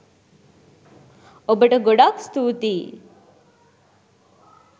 ඔබට ගොඩක් ස්තුතියි